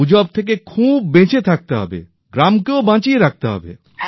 আর গুজব থেকে খুব বেঁচে থাকতে হবে গ্রামকেও বাঁচিয়ে রাখতে হবে